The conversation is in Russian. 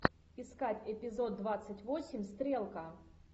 искать эпизод двадцать восемь стрелка